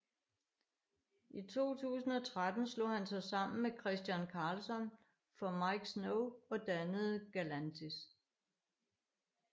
I 2013 slog han sig sammen med Christian Karlsson fra Miike Snow og dannede Galantis